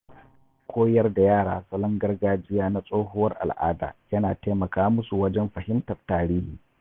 Koyar da yara salon gargajiya na tsohuwar al’ada ya na taimaka musu wajen fahimtar tarihi.